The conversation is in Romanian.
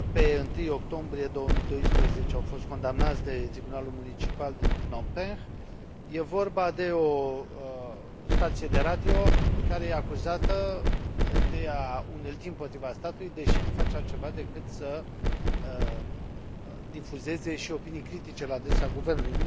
La 1 octombrie 2012 au fost condamnați de Tribunalul Municipal din Phnom Penh. E vorba de o stație de radio, care e acuzată de a unelti împotriva statului, deși nu face altceva decât să difuzeze și opinii critice la adresa guvernului.